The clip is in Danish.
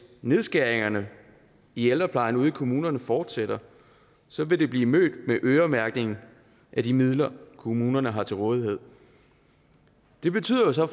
nedskæringerne i ældreplejen ude i kommunerne fortsætter så vil det blive mødt med øremærkning af de midler kommunerne har til rådighed det betyder jo så